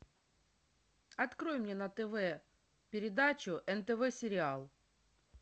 открой мне на тв передачу нтв сериал